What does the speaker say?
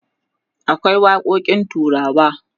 akwai waƙoƙin turawa